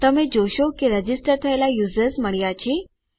તમે જોશો કે રજીસ્ટર થયેલા યુઝર્સ મળ્યા છે